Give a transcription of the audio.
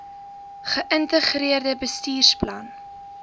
ge ïntegreerde bestuursplan